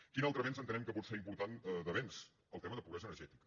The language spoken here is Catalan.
quin altre avenç entenem que pot ser important el tema de pobresa energètica